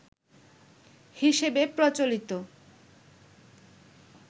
হিসেবে প্রচলিত